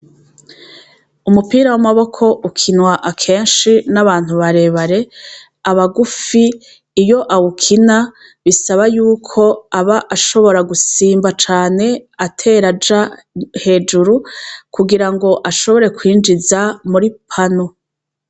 Umupira w'amaboko ukinwa akenshi n'abantu barebare abagufi iyo awukina bisaba yuko aba ashobora gusimba cane ateraja hejuru kugira ngo ashobore kwinjiza muri pano.